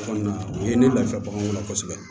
O kɔni o ye ne lafiya baganw na kosɛbɛ